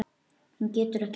Hún getur ekki hætt.